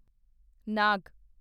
ਨਾਗ